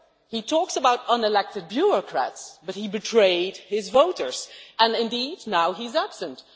He talks about unelected bureaucrats but he betrayed his voters and, indeed, now he is absent.